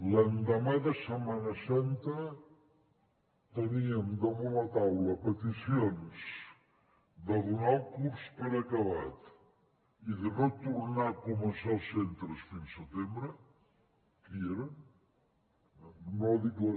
l’endemà de setmana santa teníem damunt la taula peticions de donar el curs per acabat i de no tornar a començar als centres fins setembre que hi eren no dic la